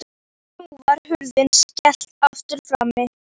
Og nú var hurð skellt aftur frammi.